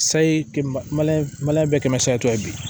Sayi bɛɛ kɛmɛ seri to ye bi